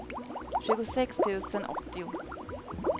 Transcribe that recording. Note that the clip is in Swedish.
tjugosex tusen åttio